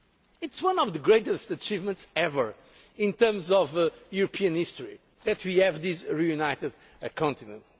the membership. It is one of the greatest achievements ever, in terms of European history, to have this reunited